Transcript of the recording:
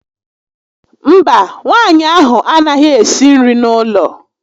Mba, nwaanyị ahụ a naghị ésí nri n'ụlọ